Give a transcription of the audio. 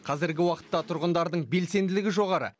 қазіргі уақытта тұрғындардың белсенділігі жоғары